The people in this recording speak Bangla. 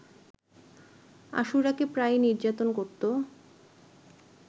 আশুরাকে প্রায়ই নির্যাতন করতো